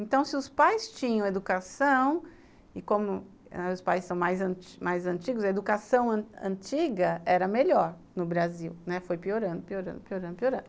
Então se os pais tinham educação, e como ãh os pais são mais mais antigos, a educação antiga era melhor no Brasil, né, foi piorando, piorando, piorando, piorando.